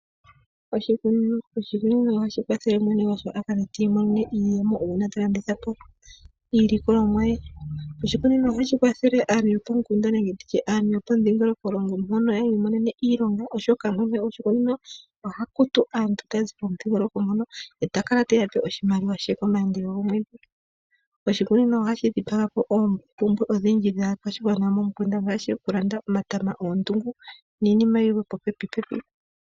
Oshikunino Oshikunino ohashi kwathele mwene gwasho akale tiimonene iiyemo uuna ta landithapo iilikolomwa ye. Oshikunino ohashi kwathele aantu yopomukunda nenge nditye aantu yo pomudhingolokolongo mpono yiimonene iilonga oshoka mwene goshikunino oha kutu aantu taya zi pomudhingoloko mpono eta kala teya pe oshimaliwa she komaandelo gomweedhi. Oshikunino ohashi dhipaga po oompumbwe odhindji dhaakwashigwana yopomukunda ngaashi oku landa omatama, oondungu niinima yilwe popepipepi.